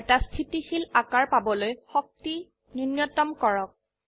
এটা স্থিতিশীল আকাৰ পাবলৈ শক্তি নুন্যতম কৰক